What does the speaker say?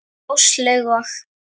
Áslaug og